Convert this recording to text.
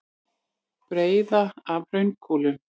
Breiða af hraunkúlum.